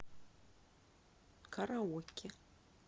караоке